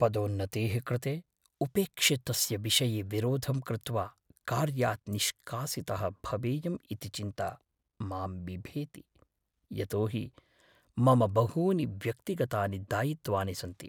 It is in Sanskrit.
पदोन्नतेः कृते उपेक्षितस्य विषये विरोधं कृत्वा कार्यात् निष्कासितः भवेयम् इति चिन्ता मां बिभेति, यतो हि मम बहूनि व्यक्तिगतानि दायित्वानि सन्ति।